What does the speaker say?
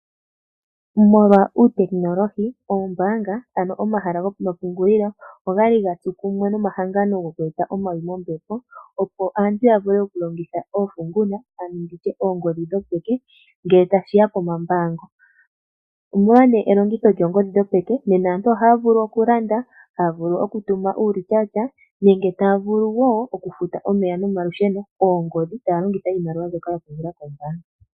Molwa uutekinolohi oyali yakwathana nomahangano goku eta omawi mombepo, opo aakwashigwana ya vule okulongitha oofunguna oongodhi dhopeke ngele tashiiya komambaango. Molwa elongitho kyoongodhi dhopeke nena antu ohaya vulu okutuma iimaliwa, okulanda uulityatya taya longitha iimaliwa mbyoka yili komapungulilo gawo goombanga.